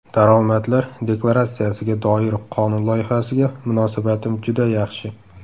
Daromadlar deklaratsiyasiga doir qonun loyihasiga munosabatim juda yaxshi.